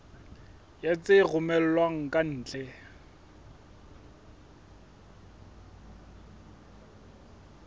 ya tse romellwang ka ntle